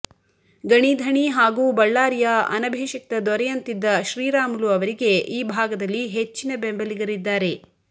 ಗಣಿ ಧಣಿ ಹಾಗೂ ಬಳ್ಳಾರಿಯ ಅನಭಿಷಿಕ್ತ ದೊರೆಯಂತಿದ್ದ ಶ್ರೀರಾಮುಲು ಅವರಿಗೆ ಈ ಭಾಗದಲ್ಲಿ ಹೆಚ್ಚಿನ ಬೆಂಬಲಿಗರಿದ್ದಾರೆ